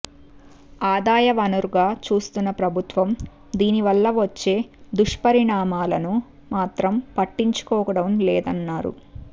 ఆదాయ వనరుగా చూస్తున్న ప్రభుత్వం దీనివల్ల వచ్చే దుష్పరిణామాలను మాత్రం పట్టించుకోవడం లేదన్నారు